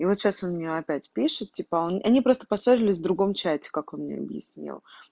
и вот сейчас он мне опять пишет типа они просто поссорились в другом чате как он мне объяснил